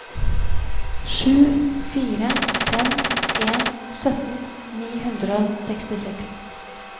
sju fire fem en sytten ni hundre og sekstiseks